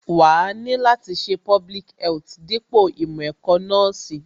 Wàá ni láti ṣe public health dípò ìmọ̀ ẹ̀kọ́ nọ́ọ̀sì